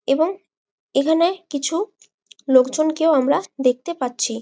এবং এখানে কিছু লোকজন কেও আমরা দেখতে পাচ্ছি।